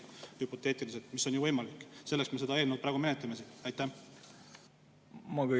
See on küll hüpoteetiline võimalus, aga see on ju võimalik, selleks me seda eelnõu praegu siin menetlemegi.